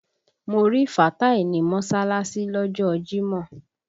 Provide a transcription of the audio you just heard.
Mo rí Fàtáì ní mọ́ṣálásí lọ́jọ́ ọ jímọ̀